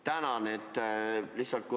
Tänan!